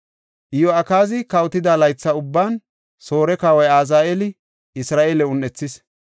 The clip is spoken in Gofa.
Iyo7akaazi kawotida laytha ubban Soore Kawoy Azaheeli Isra7eele un7ethis.